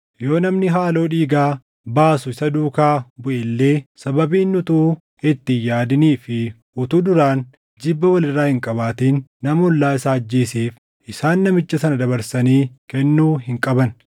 Yoo namni haaloo dhiigaa baasu isa duukaa buʼe illee, sababii inni utuu itti hin yaadinii fi utuu duraan jibba wal irraa hin qabaatin nama ollaa isaa ajjeeseef, isaan namicha sana dabarsanii kennuu hin qaban.